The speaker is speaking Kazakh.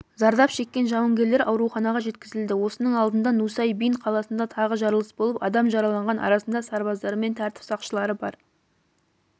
зардап шеккен жауынгерлер ауруханаға жеткізілді осының алдында нусай-бин қаласында тағы жарылыс болып адам жараланған арасында сарбаздар мен тәртіп сақшылары бар